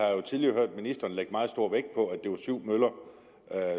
jo tidligere hørt ministeren lægge meget stor vægt på at det var syv møller